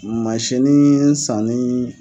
Mansini sanni